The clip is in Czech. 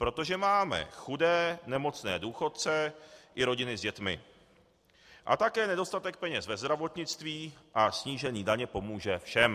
Protože máme chudé nemocné důchodce i rodiny s dětmi a také nedostatek peněz ve zdravotnictví a snížení daně pomůže všem.